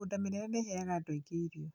mĩgũnda mĩnene nĩ ĩheaga andũ aingĩ irio